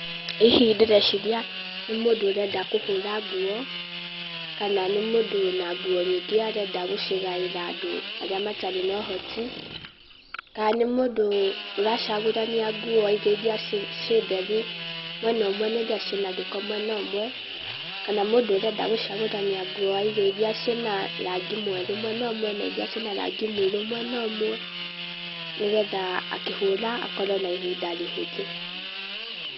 Hihi ndĩreciria nĩ mũndũ ũrenda kũhũra nguo, kana nĩ mũndũ wĩna nguo nyingĩ arenda gũcigaĩra andũ arĩa matarĩ na ũhoti, kana nĩ mũndũ ũracagũrania nguo aige iria ciĩ theru mwena ũmwe na iria ciĩ na gĩko mwena ũmwe, kana mũndũ ũrenda gũcagũrania nguo aige iria ciĩ na rangi mwerũ mwena ũmwe na iria ciĩ na rangi mũirũ mwena ũmwe, nĩgetha akĩhũra, akorwo na ihinda rĩhũthũ.